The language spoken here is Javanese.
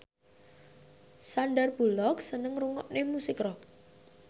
Sandar Bullock seneng ngrungokne musik rock